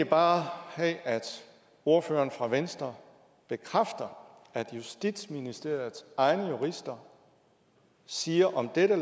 bare have at ordføreren fra venstre bekræfter at justitsministeriets egne jurister siger om dette